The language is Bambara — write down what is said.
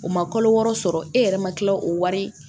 O ma kalo wɔɔrɔ sɔrɔ e yɛrɛ ma kila o wari